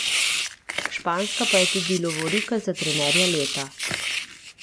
Španska pa je tudi lovorika za trenerja leta.